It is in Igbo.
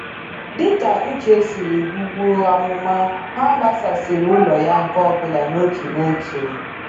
Dị ka Uche siri gbubuo amụma, ha gbasasịrị ụlọ ya nke ọbụla n'otu n'otu.